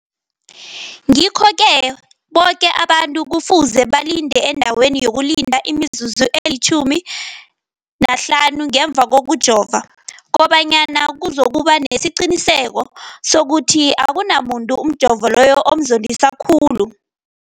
Ngikho-ke boke abantu kufuze balinde endaweni yokulinda imizuzu eli-15 ngemva kokujova, koba nyana kuzokuba nesiqiniseko sokuthi akunamuntu umjovo loyo omzondisa khulu.